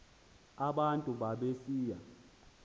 aba bantu babesiya